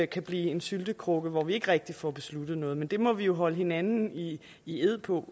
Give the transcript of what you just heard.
kan blive en syltekrukke hvor vi ikke rigtig får besluttet noget men det må vi jo holde hinanden i i ed på